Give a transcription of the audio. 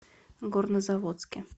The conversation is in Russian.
горнозаводске